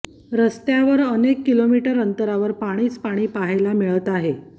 रस्त्यावर अनेक किलोमीटर अंतरावर पाणीच पाणी पाहायला मिळत आहे